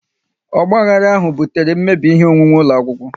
Ogbahara ahụ butere mmebi ihe onwunwe ụlọ akwụkwọ